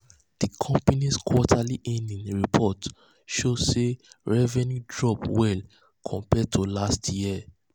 di company's quarterly earnings report show sey revenue drop well compared to last year.